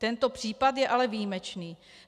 Tento případ je ale výjimečný.